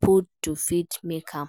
put to fit make am